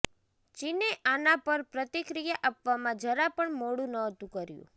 ચીને આના પર પ્રતિક્રિયા આપવામાં જરા પણ મોડું નહોતું કર્યું